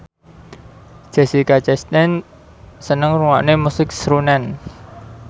Jessica Chastain seneng ngrungokne musik srunen